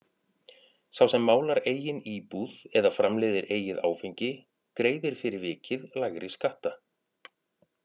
Sá sem málar eigin íbúð eða framleiðir eigið áfengi greiðir fyrir vikið lægri skatta.